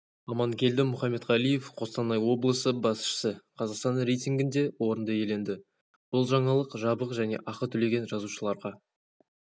аманкелді мұхаметқалиев қостанай облысы басшысы қазақстан рейтингінде орынды иеленді бұл жаңалық жабық және ақы төлеген жазылушыларға